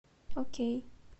окей